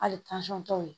Hali tɔw ye